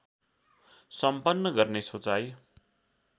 सम्पन्न गर्ने सोचाइ